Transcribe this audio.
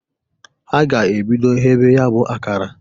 A ga-ebido ghebe ya bụ akara.